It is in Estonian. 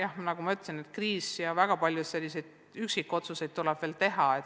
Aga jah, nagu ma ütlesin, kriis jätkub ja väga palju üksikotsuseid tuleb veel teha.